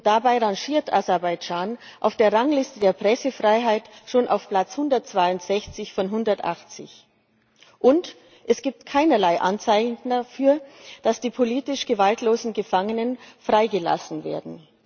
Dabei rangiert Aserbaidschan auf der Rangliste der Pressefreiheit schon auf Platz 162 von 180. Und es gibt keinerlei Anzeichen dafür, dass die politisch gewaltlosen Gefangenen freigelassen werden.